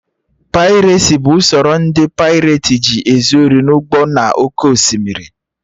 Pairesi bụ usoro ndị paireti ji ezu ori n'ụgbọ nọ na oké osimiri